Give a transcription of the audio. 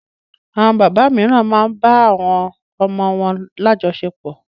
Àwọn bàbá mìíràn máa ń bá àwọn ọmọ wọn lájọsepọ̀.